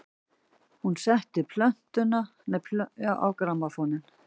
Hún setti plötuna á grammófóninn.